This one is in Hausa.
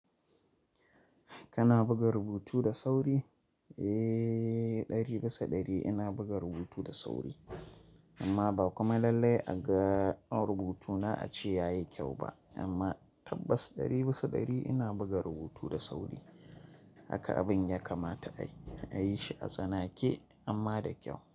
Kana buga rubutu da sauri? Eh, ɗari bisa ɗari ina buga rubutu da sauri, amma ba kuma lallai a ga na rubutuna a ce ya yi kyau ba. Amma tabbas ɗari bisa ɗari ina buga rubutu da sauri. Haka abin ya kamata a yi shi a tsanake, amma da kyau.